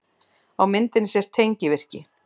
Á myndinni sést tengivirki.